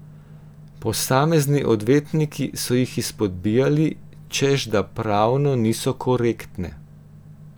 Posamezni odvetniki so jih izpodbijali, češ da pravno niso korektne.